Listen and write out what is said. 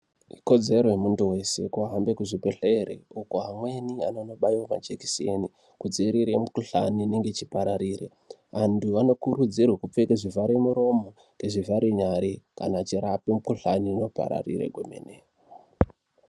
Ikodzero yemuntu wese kuhambe kuzvibhedhlere, uko amweni anonobaiwe majekiseni kudziirire mikuhlani inenge ichipararire. Antu anokurudzirwe kupfeke zvivharemuromo nezvivharenyare kana achirapwe mikuhlani inopararire kwemene.